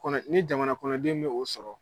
kɔnɔ ni jamanakɔnɔden bɛ o sɔrɔ.